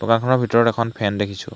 দোকানখনৰ ভিতৰত এখন ফেন দেখিছোঁ।